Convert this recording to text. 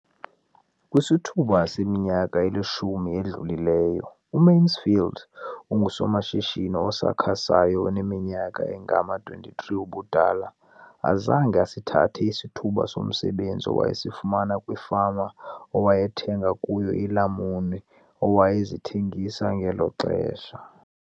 Kwisithuba seminyaka elishumi edlulileyo, uMansfield engusomashishini osakhasayo oneminyaka engama-23 ubudala, zange asithathe isithuba somsebenzi awayesifumana kwifama awayethenga kuyo iilamuni awayezithengisa ngelo xesha.